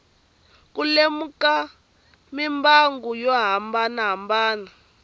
ku lemuka mimbangu yo hambanahambana